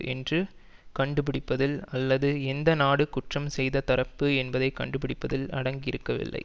என்று கண்டுபிடிப்பதில் அல்லது எந்த நாடு குற்றம் செய்த தரப்பு என்பதை கண்டுடிபிடிப்பதில் அடங்கியிருக்கவில்லை